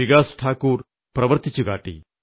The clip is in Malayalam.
വികാസ് ഠാകുർ പ്രവർത്തിച്ചു കാട്ടി